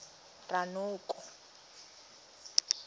ranoko